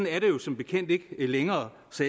er det jo som bekendt ikke længere så